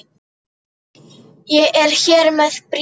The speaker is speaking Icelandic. Ég er hér með bréf!